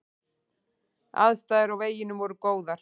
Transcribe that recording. Aðstæður á veginum voru góðar.